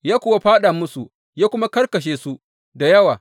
Ya kuwa fāɗa musu ya kuma karkashe su da yawa.